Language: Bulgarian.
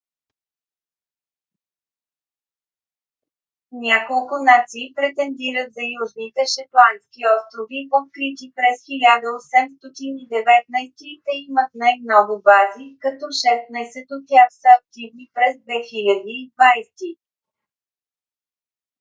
няколко нации претендират за южните шетландски острови открити през 1819 г. и те имат най-много бази като шестнайсет от тях са активни през 2020 г